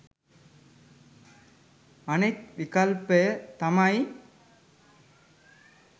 අනෙක් විකල්පය තමයි